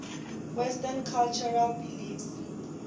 western cultural beliefs